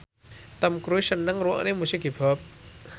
Tom Cruise seneng ngrungokne musik hip hop